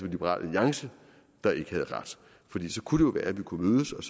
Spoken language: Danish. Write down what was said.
liberal alliance der ikke havde ret fordi så kunne være at vi kunne mødes og